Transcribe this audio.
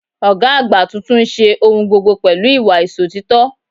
Ògá àgbà tuntun n se ohun gbogbo pẹ̀lú ìwà Ìsòtítọ́